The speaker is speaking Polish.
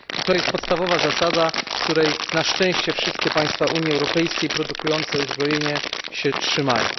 I to jest podstawowa zasada, której na szczęście wszystkie państwa Unii Europejskiej produkujące uzbrojenie się trzymają.